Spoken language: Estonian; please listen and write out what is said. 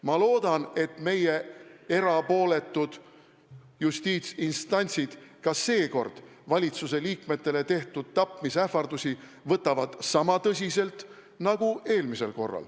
Ma loodan, et meie erapooletud justiitsinstantsid võtavad ka seekord valitsuse liikmetele tehtud tapmisähvardusi sama tõsiselt nagu eelmisel korral.